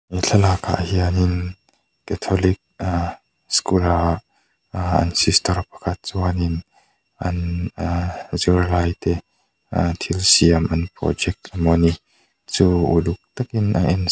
thlalak ah hian in catholic ahh school a aa an sister pakhat chuan in an aaa zirlaite aaa thil siam an project emawni chu uluk tak in a ensak--